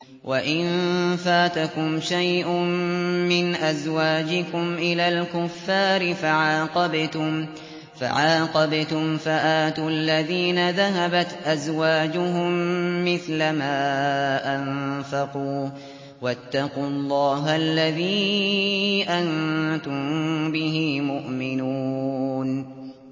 وَإِن فَاتَكُمْ شَيْءٌ مِّنْ أَزْوَاجِكُمْ إِلَى الْكُفَّارِ فَعَاقَبْتُمْ فَآتُوا الَّذِينَ ذَهَبَتْ أَزْوَاجُهُم مِّثْلَ مَا أَنفَقُوا ۚ وَاتَّقُوا اللَّهَ الَّذِي أَنتُم بِهِ مُؤْمِنُونَ